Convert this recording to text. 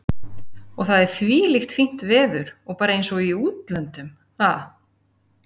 Og það er þvílíkt fínt veður og bara eins og í útlöndum, ha?